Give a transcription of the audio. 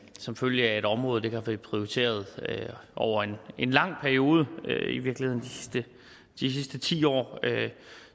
som følge af at området ikke har været prioriteret over en lang periode i virkeligheden de sidste ti år